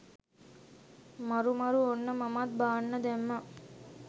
මරු මරු ඔන්න මමත් බාන්න දැම්මා.